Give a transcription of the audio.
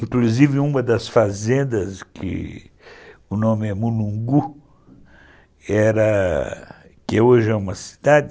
Inclusive uma das fazendas, que o nome é Mulungu, que era... que hoje é uma cidade,